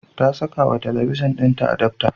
Ta sakawa talabijin ɗinta adapta.